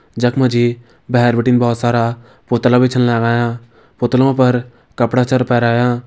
जख का जी भैर बिटिन बहोत सारा पुतला भी छन लगायां पुतलों पर कपड़ा छर पैरायां।